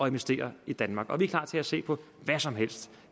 investere i danmark og vi er klar til at se på hvad som helst